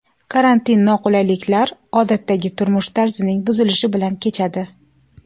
Karantin noqulayliklar, odatdagi turmush tarzining buzilishi bilan kechadi.